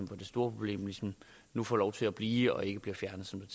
problem nu får lov til at blive og ikke bliver fjernet som